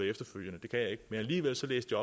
efterfølgende det kan jeg ikke men alligevel læste